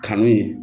Kanu ye